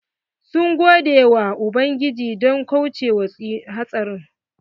Sun gode wa ubangiji don kauce wa hatsarin.